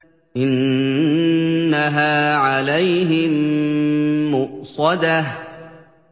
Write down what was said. إِنَّهَا عَلَيْهِم مُّؤْصَدَةٌ